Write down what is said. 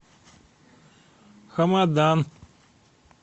хамадан